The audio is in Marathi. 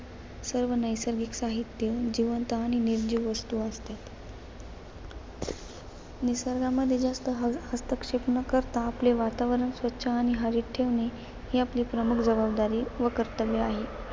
सर्व नैसर्गिक साहित्य, जिवंत आणि निर्जीव वस्तू असतात. निसर्गामध्ये जास्त हहस्तक्षेप न करता आपले वातावरण स्वच्छ आणि हवेत ठेवणे, ही आपली प्रमुख जबाबदारी व कर्तव्य आहे.